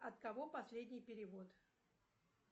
от кого последний перевод